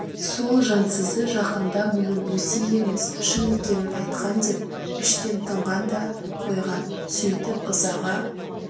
сол жансызы жақында мұның өсек емес шын екенін айтқан деп іштен тынған да қойған сөйтіп ызаға